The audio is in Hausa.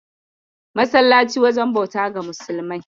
Masallaci wajen bauta ga musulmai.